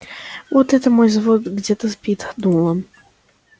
вот это мой взвод где-то спит думал он